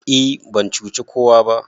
e ban cuci kowa ba